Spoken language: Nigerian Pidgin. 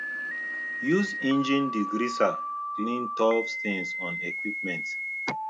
use engine degreaser clean tough stains on equipment